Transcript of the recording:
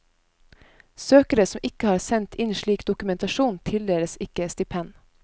Søkere som ikke har sendt inn slik dokumentasjon, tildeles ikke stipend.